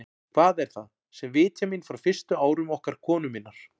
Hvað er það, sem vitjar mín frá fyrstu árum okkar konu minnar?